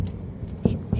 Hamısı işimdir, nə deyim.